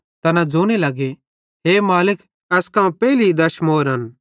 तैना ज़ोने लगे हे मालिक एस कां पेइली दश अश्रेफीन